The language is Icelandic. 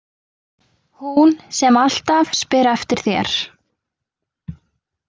Hún sem alltaf spyr eftir þér.